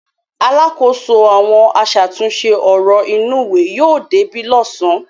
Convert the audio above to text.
Alákòóso àwọn aṣàtúnṣe ọ̀rọ̀ inúùwé yóò débí lọ́sàn-án.